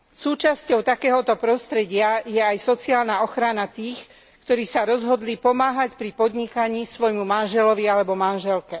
Súčasťou takéhoto prostredia je aj sociálna ochrana tých, ktorí sa rozhodli pomáhať pri podnikaní svojmu manželovi alebo manželke.